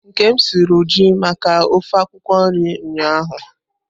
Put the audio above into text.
Nkem suru ju maka ofe akwukwo nri ụnyahụ.